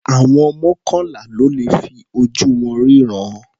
Àwọn mọ́kànlá ló le fi ojú wọn rínran.